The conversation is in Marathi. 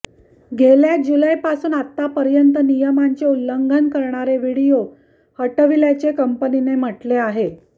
गेल्या जूलैपासून आतापर्यंत नियमांचे उल्लंघन करणारे व्हिडिओ हटविल्याचे कंपनीने म्हटले आहे